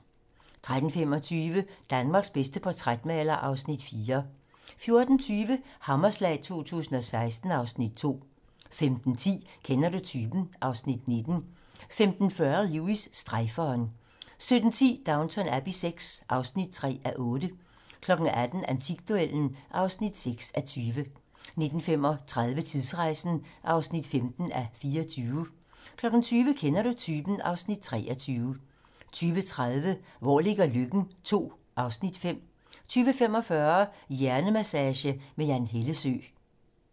13:25: Danmarks bedste portrætmaler (Afs. 4) 14:20: Hammerslag 2016 (Afs. 2) 15:10: Kender du typen? (Afs. 19) 15:40: Lewis: Strejferen 17:10: Downton Abbey VI (3:8) 18:00: Antikduellen (6:20) 19:35: Tidsrejsen (15:24) 20:00: Kender du typen? (Afs. 23) 20:30: Hvor ligger Løkken? II (Afs. 5) 20:45: Hjernemassage med Jan Hellesøe